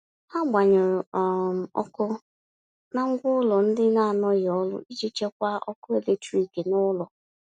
Ha gbanyụrụ um ọkụ na ngwa ụlọ ndị anọghị ọrụ iji chekwaa ọkụ eletrik n'ụlọ.